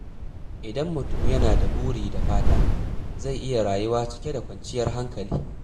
Idan mutum yana da buri da fata, zai iya rayuwa cike da kwanciyar hankali.